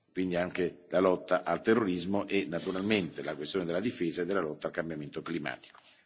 quindi anche la lotta al terrorismo e naturalmente la questione della difesa e della lotta al cambiamento climatico.